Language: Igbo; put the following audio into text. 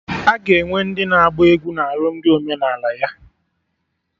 Aga enwe ndị na-agba egwu na alụmdi omenala ya